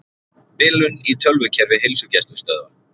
Bilun í tölvukerfi heilsugæslustöðva